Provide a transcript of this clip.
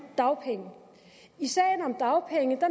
dagpenge i sagen om dagpenge